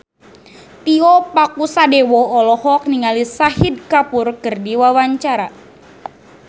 Tio Pakusadewo olohok ningali Shahid Kapoor keur diwawancara